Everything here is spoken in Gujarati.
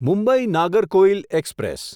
મુંબઈ નાગરકોઇલ એક્સપ્રેસ